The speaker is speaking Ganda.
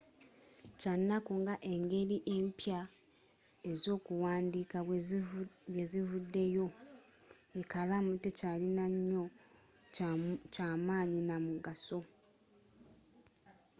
kyanaku nga engeri empya ez'okuwandiika bwezivudeyo ekalaamu tekyalinanyo ky'amanyi n'amugaso